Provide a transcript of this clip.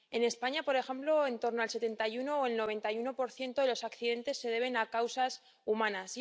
En España, por ejemplo, en torno al 71 o el 91 de los accidentes se debe a causas humanas.